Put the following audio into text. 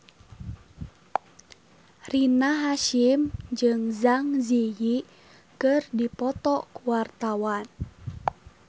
Rina Hasyim jeung Zang Zi Yi keur dipoto ku wartawan